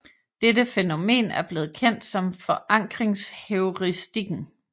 Dette fænomen er blevet kendt som forankringsheuristikken